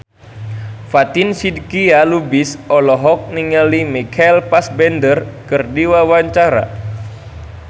Fatin Shidqia Lubis olohok ningali Michael Fassbender keur diwawancara